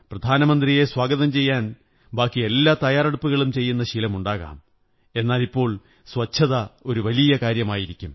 പ്രധാനമന്ത്രിയെ സ്വാഗതം ചെയ്യാൻ ബാക്കിയെല്ലാ തയ്യാറെടുപ്പുകളും ചെയ്യുന്ന ശീലമുണ്ടാകാം എന്നാലിപ്പോൾ സ്വച്ഛത ഒരു വലിയ കാര്യമായിരിക്കും